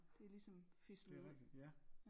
Det er ligesom fislet ud